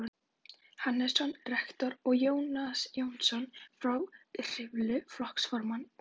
Hannesson rektor og Jónas Jónsson frá Hriflu flokksformann og